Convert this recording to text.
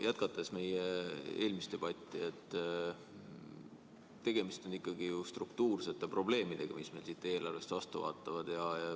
Jätkates meie eelmist debatti: tegemist on ikkagi ju struktuursete probleemidega, mis meile siit eelarvest vastu vaatavad.